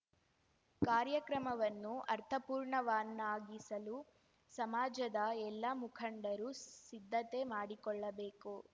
ಕಾರ್ಯಕ್ರಮವನ್ನು ಅರ್ಥಪೂರ್ಣವನ್ನಾಗಿಸಲು ಸಮಾಜದ ಎಲ್ಲ ಮುಖಂಡರು ಸಿದ್ಧತೆ ಮಾಡಿಕೊಳ್ಳಬೇಕು